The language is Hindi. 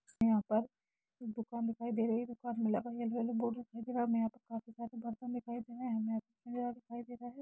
यहां पर कुछ दुकान दिखाई दे रही है दुकान लगाया हुआ है बोरा फेक रहा है काफ़ी सारे बर्तन दिखाई दे रहा हैहमे दे रहा है।